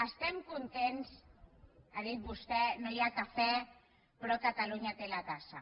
estem contents ha dit vostè no hi ha cafè però catalunya té la tassa